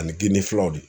Ani ginde filaw de